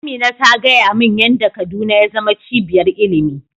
Amina ta gaya min yan da kaduna ya zama cibiyar ilimi